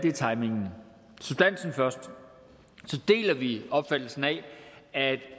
er timingen substansen først vi opfattelsen af at